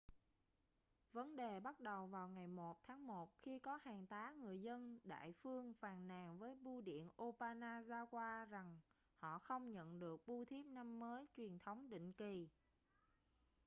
vấn đề bắt đầu vào ngày 1 tháng một khi có hàng tá người dân đại phương phàn nàn với bưu điện obanazawa rằng họ không nhận được bưu thiếp năm mới truyền thống định kỳ